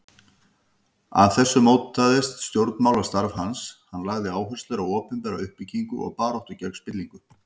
Af þessu mótaðist stjórnmálastarf hans, hann lagði áherslu á opinbera uppbyggingu og baráttu gegn spillingu.